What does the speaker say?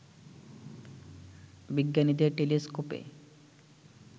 বিজ্ঞানীদের টেলিস্কোপে